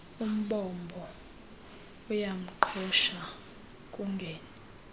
umbombo uyaqhosha kungene